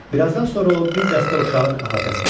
Birazdan sonra o bir dəstə uşağın əhatəsinə düşdü.